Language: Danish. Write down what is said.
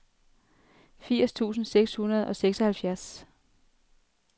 firs tusind seks hundrede og seksoghalvfjerds